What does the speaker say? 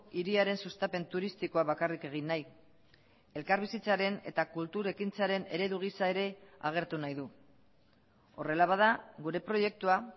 hiriaren sustapen turistikoa bakarrik egin nahi elkarbizitzaren eta kultur ekintzaren eredu gisa ere agertu nahi du horrela bada gure proiektua